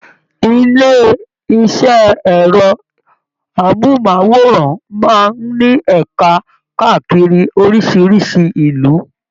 Ilé iṣẹ ẹrọ amohunmaworan máa n ní ẹka káàkiri orísirísi ìlú.